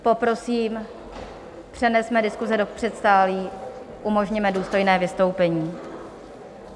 Poprosím, přenesme diskuse do předsálí, umožněme důstojné vystoupení.